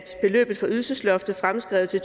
beløbet for ydelsesloftet fremskrevet til